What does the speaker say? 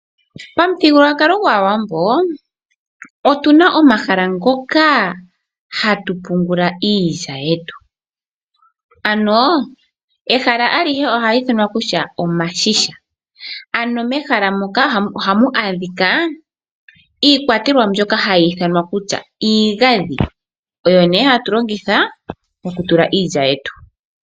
Pamuthigululwakalo gwAawambo otuna omahala ngoka hatu pungula iilya yetu ano ehala alihe ohali ithanwa kutya iigandhi. Mehala moka ohamu adhika iikwatelwa mbyoka hayi ithanwa kutya iigandhi, oyo nee hatu longitha okutula iilya yetu.